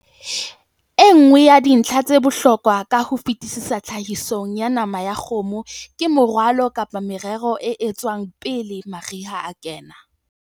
E nngwe ya dintlha tsa bohlokwa ka ho fetisisa tlhahisong ya nama ya kgomo ke moralo kapa morero o etswang pele mariha a kena.